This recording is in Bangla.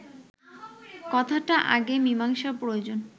কথাটা আগে মীমাংসার প্রয়োজন